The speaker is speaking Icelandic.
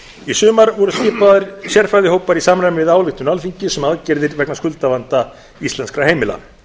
í sumar voru skipaðir sérfræðihópar í samræmi við ályktun alþingis um aðgerðir vegna skuldavanda íslenskra heimila